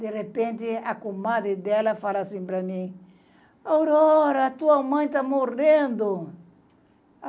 De repente, a comadre dela fala assim para mim, Aurora, tua mãe tá morrendo.